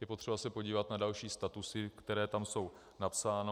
Je potřeba se podívat na další statusy, které tam jsou napsány.